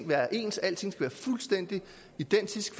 være ens at alting skal være fuldstændig identisk